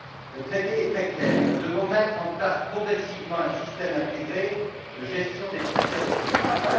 Le traité est très clair nous devons mettre en place progressivement un système intégré de gestion des frontières extérieures.